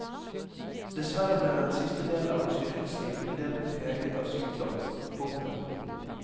Dessverre ble den siste delen av hans yrkesliv endel preget av sykdom. punktum